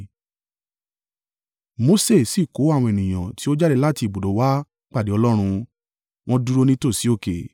Mose sì kó àwọn ènìyàn tí ó jáde láti ibùdó wá pàdé Ọlọ́run, wọ́n dúró nítòsí òkè.